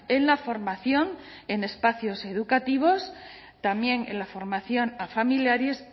en la formación en espacios educativos también en la formación a familiares